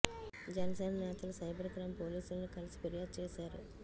జనసేన నేతలు cyber crime పోలీసుల్ని కలిసి ఫిర్యాదు చేశారు